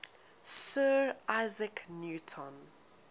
sir isaac newton